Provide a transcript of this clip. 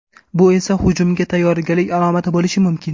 Bu esa hujumga tayyorgarlik alomati bo‘lishi mumkin.